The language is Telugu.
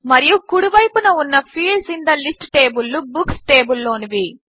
మరియు కుడి వైపున ఉన్న fields in the list table లు బుక్స్ టేబుల్ లోనివి